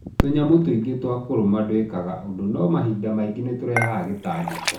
Tũnyamũ twĩngĩ twakũrũma ndwĩkaga ũndũ no mahinda maingĩ nĩ tũrehaga gĩtangĩko.